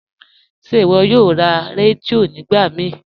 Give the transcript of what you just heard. Ṣe iwọ yòò rá rẹdíò nígbà mí?